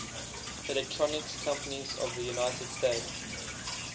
electronics companies of the united states